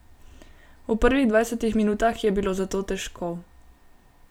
V prvih dvajsetih minutah je bilo zato težko.